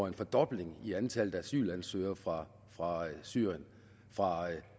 en fordobling i antallet af asylansøgere fra syrien fra